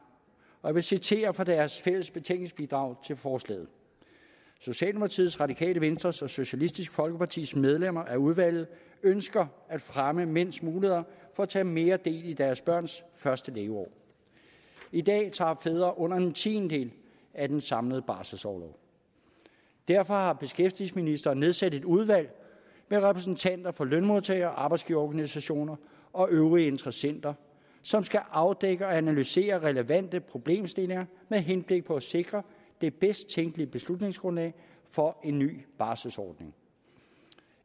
og jeg vil citere fra deres fælles betænkningsbidrag til forslaget socialdemokratiets radikale venstres og socialistisk folkepartis medlemmer af udvalget ønsker at fremme mænds muligheder for at tage mere del i deres børns første leveår i dag tager fædre under en tiendedel af den samlede barselsorlov derfor har beskæftigelsesministeren nedsat et udvalg med repræsentanter for lønmodtager og arbejdsgiverorganisationer og øvrige interessenter som skal afdække og analysere relevante problemstillinger med henblik på at sikre det bedst tænkelige beslutningsgrundlag for en ny barselsordning